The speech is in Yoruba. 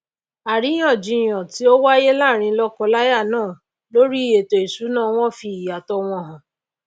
àríyàn jiyàn tí ó wáyé láàrin lókọ láyà náà lórí ètò ìsúná wọn fì ìyàtò wọn hàn